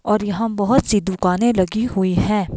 और यहां बहुत सी दुकानें लगी हुई हैं।